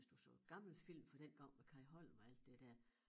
Hvis du så gamle film med Kai Holm og alt det der